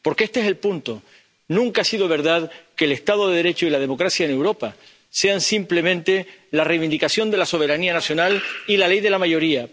Porque este es el punto nunca ha sido verdad que el Estado de Derecho y la democracia en Europa sean simplemente la reivindicación de la soberanía nacional y la ley de la mayoría.